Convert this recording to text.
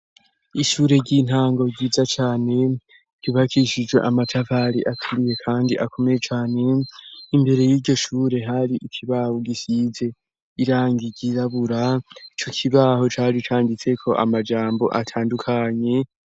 Ishure ry'intango ryiza cane ryubakishijwe amatafari aturiye kandi akomeye cane imbere y'iryo shure hari ikibaho gisize irangi ryirabura, ico kibaho cari canditse ko amajambo atandukanye.